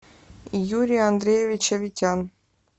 юрий андреевич аветян